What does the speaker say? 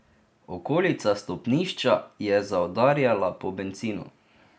Okolica stopnišča je zaudarjala po bencinu.